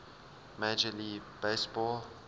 major league baseball